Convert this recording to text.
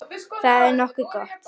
Þetta er nokkuð gott.